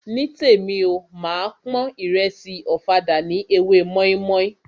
Nítèmi o, máa pon ìrẹsì ọ̀fadà sí ewé mọ́ímọ́í.